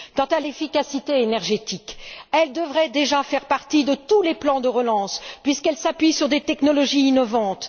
Quant à l'efficacité énergétique, elle devrait déjà faire partie de tous les plans de relance, puisqu'elle s'appuie sur des technologies innovantes.